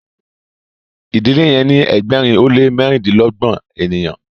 idile yen ni ẹgbẹrin o le mẹrindilọgbọn ènìyàn